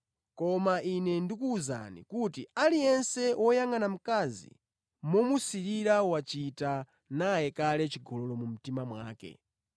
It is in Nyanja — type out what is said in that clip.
Koma Ine ndikuwuzani kuti aliyense woyangʼana mkazi momusirira wachita naye kale chigololo mu mtima mwake.